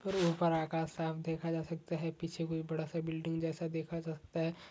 करो ऊपर आकाश साफ देखा जा सकता है पीछे कोई बड़ा सा बिल्डिंग जैसा देखा जा सकता है।